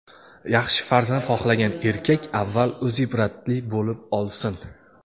yaxshi farzand xohlagan erkak avval o‘zi ibratli bo‘lib olsin!.